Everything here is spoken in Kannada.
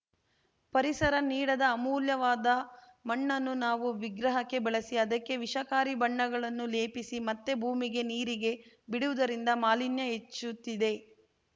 ಪರಿಸರ ನೀಡಿದ ಅಮೂಲ್ಯವಾದ ಮಣ್ಣನ್ನು ನಾವು ವಿಗ್ರಹಕ್ಕೆ ಬಳಸಿ ಅದಕ್ಕೆ ವಿಷಕಾರಿ ಬಣ್ಣಗಳನ್ನು ಲೇಪಿಸಿ ಮತ್ತೆ ಭೂಮಿಗೆ ನೀರಿಗೆ ಬಿಡುವುದರಿಂದ ಮಾಲಿನ್ಯ ಹೆಚ್ಚುತ್ತಿದೆ